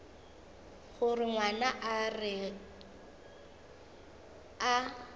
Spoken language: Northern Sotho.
gore ngwana a re a